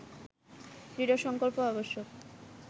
দৃঢ় সংকল্প আবশ্যক